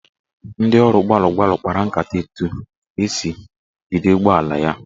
Ndị ọrụ gbalụ gbalụ kpara nkata etu esi jide ụgbọala ya.